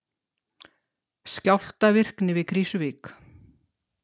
Skjálftavirkni við Krýsuvík